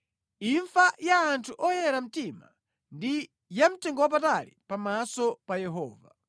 Imfa ya anthu oyera mtima ndi yamtengowapatali pamaso pa Yehova.